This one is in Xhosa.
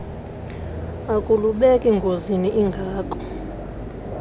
akulubeki ngozini ingako